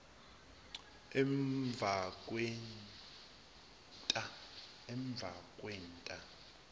emvakwenta